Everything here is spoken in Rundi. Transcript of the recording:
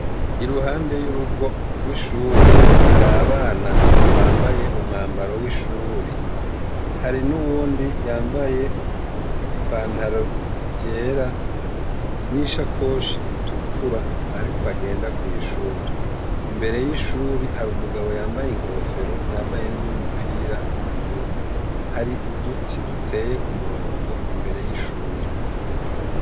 Iruhande y'urugo gw'ishuri har'abana bambaye umwambaro w'ishuri; hari nuwundi yambaye ipantaro yera n'ishakoshi itukura arikwagenda kw'ishuri. Imbere y'ishuri har'umugabo yambaye n'umupira w'ubururu. Hari uduti duteye kumurongo imbere y'ishuri.